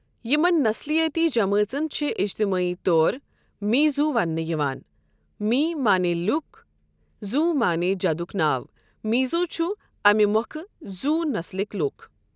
یِمن نسلِیٲتی جمٲژن چھِ اِجتِمٲعی طور میٖزو ونٛنہٕ یِوان مِی معنی لُکھ، زو معنی جَدُک ناو، میٖزو چھِ اَمہِ مۄکھٕ زو نسلٕكۍ لُکھ ۔